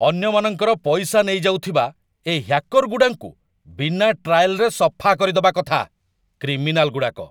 ଅନ୍ୟମାନଙ୍କର ପଇସା ନେଇଯାଉଥିବା ଏ ହ୍ୟାକର୍‌ଗୁଡ଼ାଙ୍କୁ ବିନା ଟ୍ରାଏଲ୍‌ରେ ସଫା କରିଦବା କଥା । କ୍ରିମିନାଲ୍‌ଗୁଡ଼ାକ ।